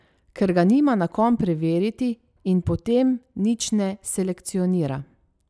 Ker ga nima na kom preveriti in potem nič ne selekcionira.